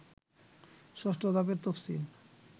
৬ষ্ঠ ধাপের তফসিল